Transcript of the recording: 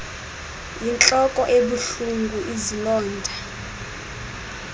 yintloko ebuhlungu izilonda